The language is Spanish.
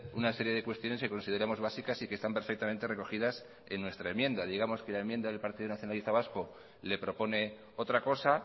una serie de cuestiones que consideramos básicas y que están perfectamente recogidas en nuestra enmienda digamos que la enmienda del partido nacionalista vasco le propone otra cosa